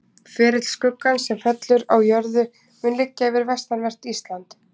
Ferill skuggans sem fellur á jörðu mun liggja yfir vestanvert Ísland.